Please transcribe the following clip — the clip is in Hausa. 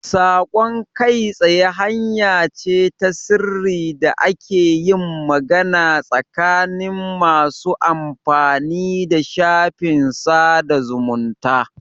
Saƙon kai tsaye hanya ce ta sirri da ake yin magana tsakanin masu amfani da shafin sada zumunta.